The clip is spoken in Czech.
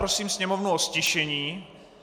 Prosím sněmovnu o ztišení.